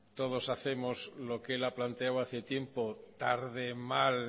todos hacemos lo que él ha planteado hace tiempo tarde mal